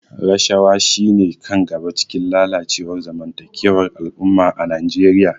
Rashawa shine kan gaba a cikin lalacewar zamantakewar al'umma a Najeriya.